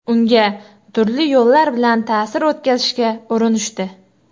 Unga turli yo‘llar bilan ta’sir o‘tkazishga urinishdi.